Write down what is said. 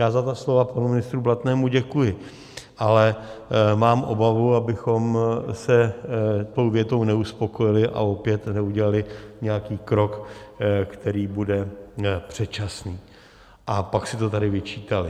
Já za ta slova panu ministrovi Blatnému děkuji, ale mám obavu, abychom se tou větou neuspokojili a opět neudělali nějaký krok, který bude předčasný, a pak si to tady vyčítali.